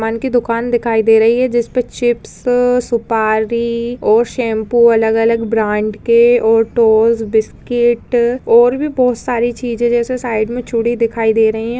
मन की दुकान दिखाई दे रही है जिसपे चिप्स सुपारी और शैम्पू अलग-अलग ब्रांड के और टोज़ बिस्किट और भी बहुत सारी चीजें जेसे साइड में चूड़ी दिखाई दे रही हैं।